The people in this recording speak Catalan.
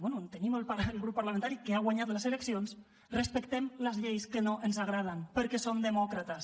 bé que tenim el grup parlamentari que ha guanyat les eleccions respectem les lleis que no ens agraden perquè som demòcrates